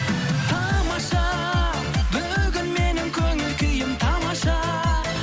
тамаша бүгін менің көңіл күйім тамаша